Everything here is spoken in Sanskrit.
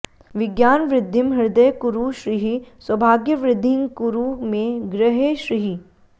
विज्ञानवृद्धिं हृदये कुरु श्रीः सौभाग्यवृद्धिङ्कुरु मे गृहे श्रीः